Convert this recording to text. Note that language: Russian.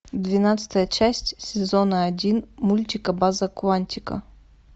двенадцатая часть сезона один мультика база куантико